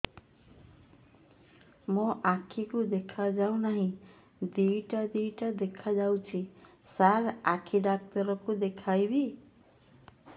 ମୋ ଆଖିକୁ ଦେଖା ଯାଉ ନାହିଁ ଦିଇଟା ଦିଇଟା ଦେଖା ଯାଉଛି ସାର୍ ଆଖି ଡକ୍ଟର କୁ ଦେଖାଇବି